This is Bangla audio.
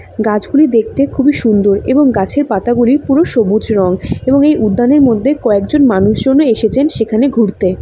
গাছগুলি দেখতে খুবই সুন্দর এবং গাছের পাতাগুলি পুরো সবুজ রং এবং এই উদ্যানের মধ্যে কয়েকজন মানুষ এসেছেন সেখানে ঘুরতে।